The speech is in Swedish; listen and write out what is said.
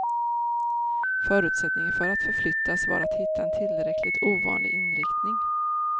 Förutsättningen för att förflyttas var att hitta en tillräckligt ovanlig inriktning.